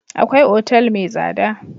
Akwai otal mai tsada.